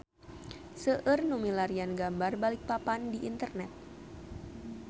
Seueur nu milarian gambar Balikpapan di internet